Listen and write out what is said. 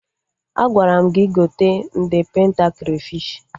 Agwara m gị gote nde penta krafish!